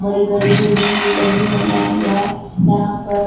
बड़ी बड़ी बिल्डिंग भी लगी हुई है यह यहां पर--